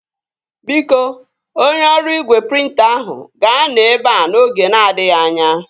Biko, onye ọrụ igwe prịnta ahụ ga-anọ ebea n'oge na-adịghị anya